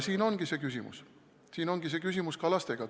Selles ongi küsimus, selles ongi küsimus ka laste puhul.